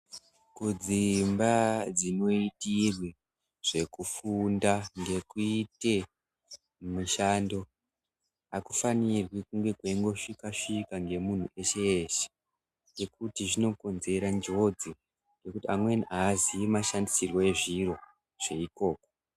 Kudzimba dzinoitirwe zvekufunda ngekuite mishando akufanirwi kunge kweingosvikwa-svikwa ngemuntu weshe weshe ngekuti zvinokonzera njodzi, ngekuti amweni aaziyi mashandisirwe ezviro zveikoko.